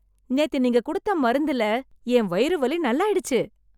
நேத்து நீங்க குடுத்த மருந்துல என் வயிறு வலி நல்லாயிடுச்சு.